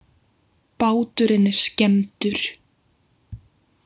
Báturinn er skemmdur